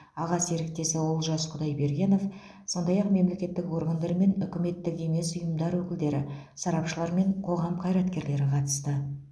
аға серіктесі олжас құдайбергенов сондай ақ мемлекеттік органдар мен үкіметтік емес ұйымдар өкілдері сарапшылар мен қоғам қайраткерлері қатысты